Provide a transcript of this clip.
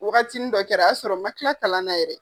Wagatinin dɔ kɛra a y'a sɔrɔ n ma kila kalan na yɛrɛ.